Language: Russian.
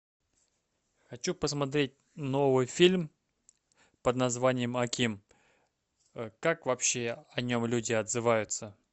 хочу посмотреть новый фильм под названием аким как вообще о нем люди отзываются